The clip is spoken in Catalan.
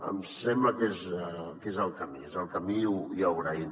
ens sembla que és el camí és el camí i ho agraïm